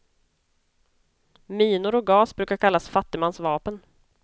Minor och gas brukar kallas fattigmans vapen.